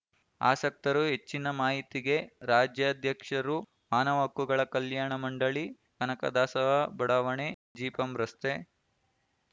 ಆಸಕ್ತರು ಹೆಚ್ಚಿನ ಮಾಹಿತಿಗೆ ರಾಜ್ಯಾಧ್ಯಕ್ಷರು ಮಾನವ ಹಕ್ಕುಗಳ ಕಲ್ಯಾಣ ಮಂಡಳಿ ಕನಕದಾಸ ಬಡಾವಣೆ ಜಿಪಂ ರಸ್ತೆ